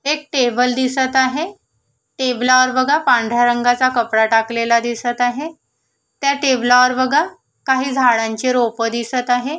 एक टेबल दिसत आहे टेबलावर बघा पांढऱ्या रंगाचा कपडा टाकलेला दिसत आहे त्या टेबलावर बघा काही झाडांची रोप दिसत आहे.